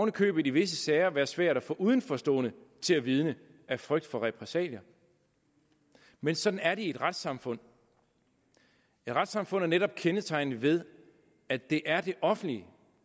i købet i visse sager være svært at få udenforstående til at vidne af frygt for repressalier men sådan er det i et retssamfund et retssamfund er netop kendetegnet ved at det er det offentlige